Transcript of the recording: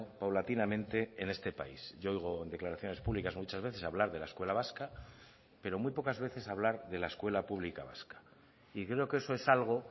paulatinamente en este país yo oigo en declaraciones públicas muchas veces hablar de la escuela vasca pero muy pocas veces hablar de la escuela pública vasca y creo que eso es algo